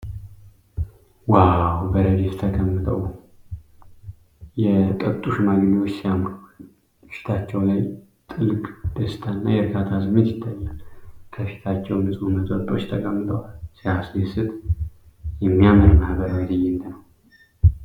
ዋው! በረድፍ ተቀምጠው የጠጡ ሽማግሌዎች ሲያምሩ! ፊታቸው ላይ ጥልቅ ደስታና የእርካታ ስሜት ይታያል። ከፊታቸው ንጹህ መጠጦች ተቀምጠዋል። ሲያስደስት! የሚያምር ማህበራዊ ትዕይንት ነው።